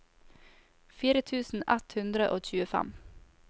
fire tusen ett hundre og tjuefem